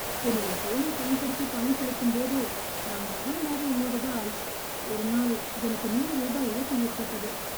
என்னுடைய ஃபோனைப் பயன்படுத்தி பணம் செலுத்தும்போது நான் கவனமாக இல்லாதால் ஒரு நாள் எனக்கு நூறு ரூபாய் இழப்பு ஏற்பட்டது.